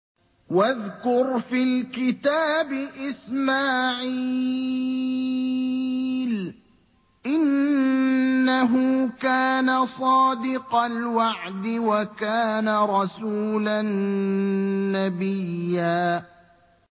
وَاذْكُرْ فِي الْكِتَابِ إِسْمَاعِيلَ ۚ إِنَّهُ كَانَ صَادِقَ الْوَعْدِ وَكَانَ رَسُولًا نَّبِيًّا